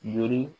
Joro